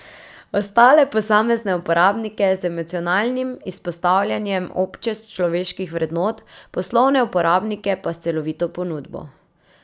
Ostale posamezne uporabnike z emocionalnim izpostavljanjem obče človeških vrednot, poslovne uporabnike pa s celovito ponudbo.